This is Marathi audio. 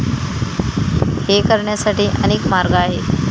हे करण्यासाठी अनेक मार्ग आहेत.